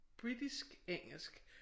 Britisk engelsk